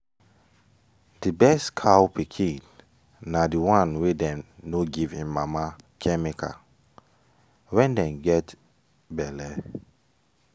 the best cow pikin na the one wey dem no give em mama chemical when en get belle.